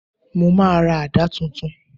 Mo máa ra àdá titun